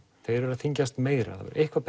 þeir eru að þyngjast meira það hefur eitthvað